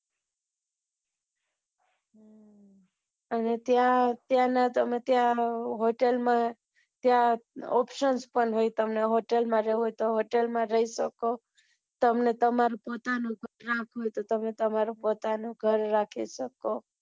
અને તા ત્યાં નું તો બધા ત્યાં option બી હોય તમને hotel માં રહેવું હોય તો hotel માં રહી શકો તમને તમાર પોતાનું ઘર રાખવું હોય તો તમે પોતાનું ઘર રાખી શકો.